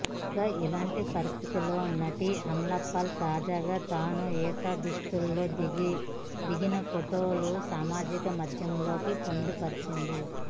కాగా ఇలాంటి పరిస్థితుల్లో నటి అమలాపాల్ తాజాగా తాను ఈత దుస్తుల్లో దిగిన ఫొటోలు సామాజిక మాధ్యమాల్లో పొందుపరిచింది